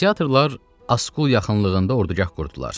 Qladiatorlar Askul yaxınlığında ordugah qurdular.